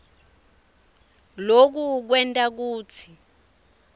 loku kwenta kutsi